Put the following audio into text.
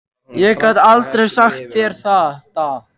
Ég gat aldrei sagt þér þetta.